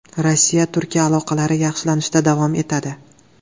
Rossiya-Turkiya aloqalari yaxshilanishda davom etadi.